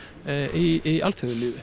í